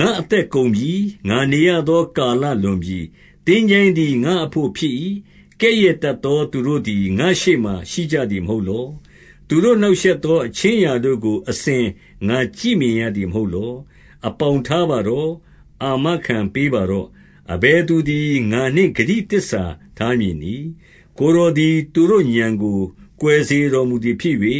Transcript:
ငါ့အသက်ကုန်ပြီ။ ငါနေရသော ကာလလွန်ပြီ။ သင်္ချိုင်းသည် ငါ့အဘို့ဖြစ်၏။ 2 ကဲ့ရဲ့တတ်သော သူတို့သည် ငါ့ရှေ့မှာရှိကြသည်မဟုတ်လော။ သူတို့နှောင့်ရှက်သော အခြင်းအရာတို့ကို အစဉ် ငါကြည့်မြင်ရသည်မဟုတ်လော။ 3 အပေါင်ထားပါတော့။ အာမခံပေးပါတော့။ အဘယ်သူသည် ငါနှင့်ဂတိသစ္စထားမည်နည်း။ 4 ကိုယ်တော်သည် သူတို့ဥာဏ် ကိုကွယ်စေတော် မူသည်ဖြစ်၍၊